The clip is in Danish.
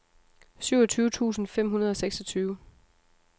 syvogtyve tusind fem hundrede og seksogtyve